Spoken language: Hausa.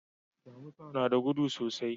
Damusa na da gudu sosai.